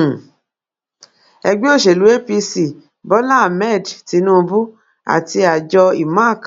um ẹgbẹ òsèlú apc bọlá ahmed tinubu àti àjọ imac